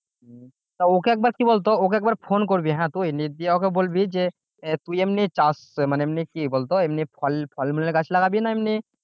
তা ওকে একবার কি বলতো ওকে একবার ফোন করবি হ্যাঁ তুই দিয়ে ওকে বলবি যে তুই এমনি চাষ মানে এমনি কি বলতো এমনি ফল ফলমূলের গাছ লাগাবি না এমনি